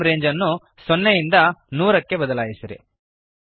frame range ಅನ್ನು 0 ಯಿಂದ 100 ಗೆ ಬದಲಾಯಿಸಿರಿ